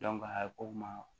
a ye ko ma